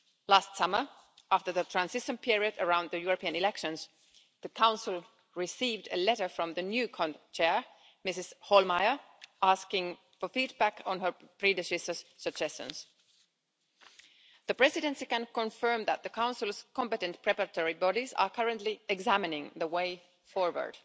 Last summer, after the transition period around the European elections, the Council received a letter from the new CONT Chair, Ms Hohlmeier, asking for feedback on her predecessor's suggestions. The Presidency can confirm that the Council's competent preparatory bodies are currently examining the way forward.